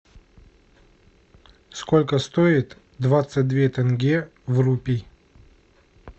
сколько стоит двадцать две тенге в рупий